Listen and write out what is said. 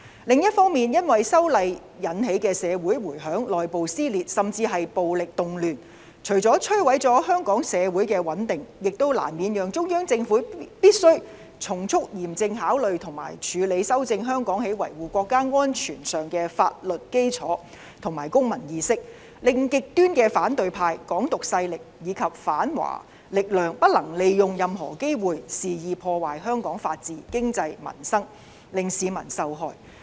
另一方面，因為修例引起的社會迴響，內部撕裂，甚至是暴力動亂，除了摧毀了香港社會的穩定，也難免讓中央政府必須從速嚴正考慮和處理修正香港在維護國家安全上的法律基礎和公民意識，令極端的反對派、"港獨"勢力及反華力量不能利用任何機會，肆意破壞香港的法治、經濟和民生，令市民受害。